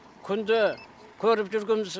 күнде көріп жүргеніміз